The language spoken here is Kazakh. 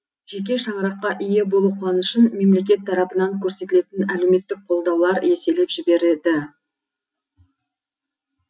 жеке шаңыраққа ие болу қуанышын мемлекет тарапынан көрсетілетін әлеуметтік қолдаулар еселеп жібереді